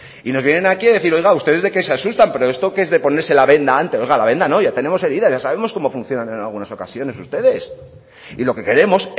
y nos vienen aquí a decir oiga ustedes de qué se asustan pero esto que es de ponerse la venda antes oiga la venda no ya tenemos herida ya sabemos cómo funcionan en algunas ocasiones ustedes y lo que queremos